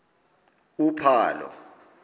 uphalo